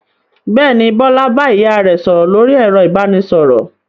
Bẹ́ẹ̀ ni, Bọ́lá bá ìyá rẹ̀ sọ̀rọ̀ lórí ẹ̀rọ ìbanisọ̀rọ̀.